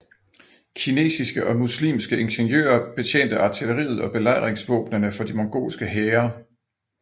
Kinesiske og muslimske ingeniører betjente artilleriet og belejringsvåbnene for de mongolske hære